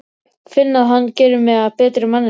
Finn að hann gerir mig að betri manneskju.